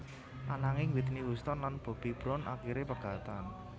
Ananging Whitney Houston lan Bobby Brown akiré pegatan